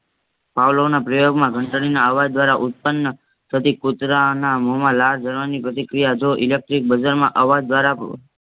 પાવલોના પ્રયોગમાં ઘંટલીના અવાજ ઉત્પન્ન થતી કૂતરાના મૂહમાં લાળ ઝરવાની પ્રતિક્રિયા જો electric માં અવજદ્વારા બ